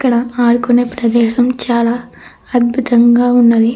ఇక్కడ ఆడుకునే ప్రదేశం చాలా అద్భుతంగా ఉన్నాది.